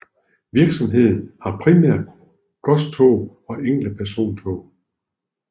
Virksomheden har primært godstog og enkelte persontog